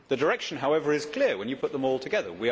The direction however is clear when you put them all together.